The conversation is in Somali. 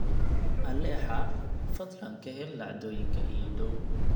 alexa fadlan ka hel dhacdooyinka ii dhow